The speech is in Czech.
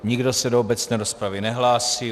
Nikdo se do obecné rozpravy nehlásí.